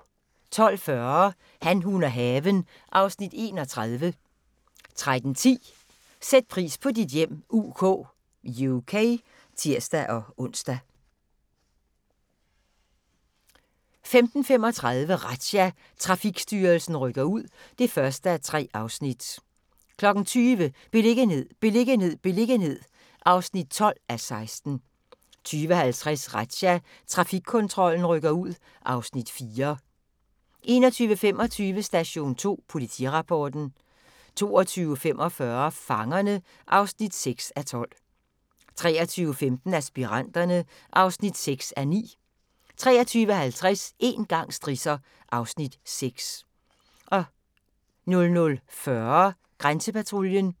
12:40: Han, hun og haven (Afs. 31) 13:10: Sæt pris på dit hjem UK (tir-ons) 15:35: Razzia – Trafikstyrelsen rykker ud (1:3) 20:00: Beliggenhed, beliggenhed, beliggenhed (12:16) 20:50: Razzia – Trafikkontrollen rykker ud (Afs. 4) 21:25: Station 2 Politirapporten 22:45: Fangerne (6:12) 23:15: Aspiranterne (6:9) 23:50: Én gang strisser (Afs. 6) 00:40: Grænsepatruljen